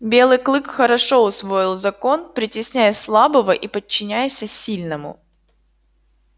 белый клык хорошо усвоил закон притесняй слабого и подчиняйся сильному